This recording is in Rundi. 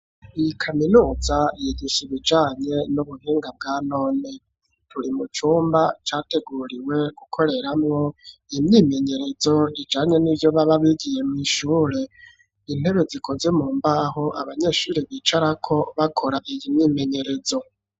Iyi kaminuza yigisha ibijanye n'ubuhinga bwa none turi mu cumba categuriwe gukoreramwo imyimenyerezo ijanye n'ivyo baba bigiye mu ishure intebe zikoze mu mbaho abanyeshuri bicara ko bakora iyi myimenyerezo.